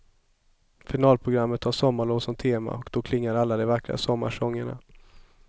Finalprogrammet har sommarlov som tema och då klingar alla de vackra sommarsångerna.